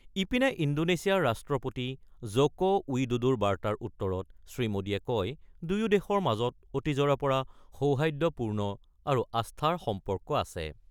ইপিনে, ইণ্ডোনেছিয়াৰ ৰাষ্ট্ৰপতি জ'ক' উইদোদোৰ বাৰ্তাৰ উত্তৰত শ্ৰীমোদীয়ে কয়, দুয়ো দেশৰ মাজত অতীজৰে পৰা সৌহাৰ্দ্যপূৰ্ণ আৰু আস্থাৰ সম্পৰ্ক আছে।